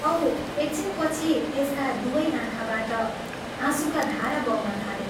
औ एकछिनपछि त्यसका दुवै आँखाबाट आँसुका धारा बग्न थाले।